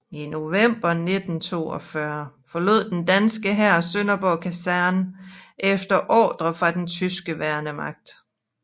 I november 1942 forlod den danske hær Sønderborg Kaserne efter ordre fra den tyske værnemagt